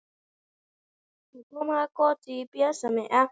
Elsku Óskar minn.